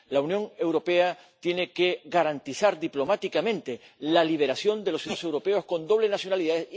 La Unión Europea tiene que garantizar diplomáticamente la liberación de los ciudadanos europeos con doble nacionalidad.